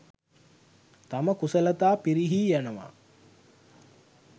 තම කුසලතා පිරිහී යනවා.